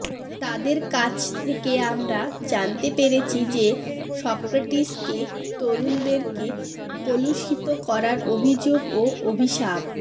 তাদের কাছ থেকে আমরা জানতে পেরেছি যে সক্রেটিসকে তরুণদেরকে কলুষিত করার অভিযোগ ও অভিশাপ